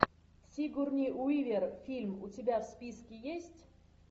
сигурни уивер фильм у тебя в списке есть